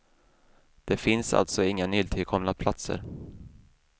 Det finns alltså inga nytillkomna platser.